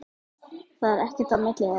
Það er ekkert á milli þeirra.